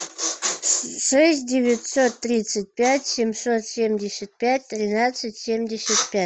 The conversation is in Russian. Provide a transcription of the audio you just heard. шесть девятьсот тридцать пять семьсот семьдесят пять тринадцать семьдесят пять